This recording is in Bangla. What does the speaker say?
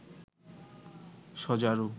সজারু